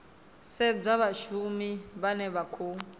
sedzwa vhashumi vhane vha khou